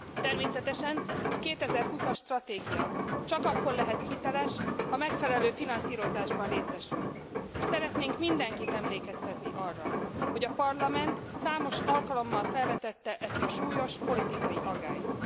Természetesen a 2020 as stratégia csak akkor lehet hiteles, ha megfelelő finanszírozásban részesül. Szeretnénk mindenkit emlékeztetni arra, hogy a Parlament számos alkalommal felvetette ezt a súlyos politikai aggályt.